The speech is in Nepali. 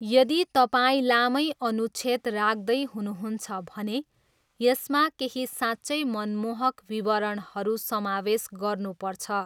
यदि तपाईँ लामै अनुच्छेद राख्दै हुनुहुन्छ भने यसमा केही साँच्चै मनमोहक विवरणहरू समावेश गर्नुपर्छ!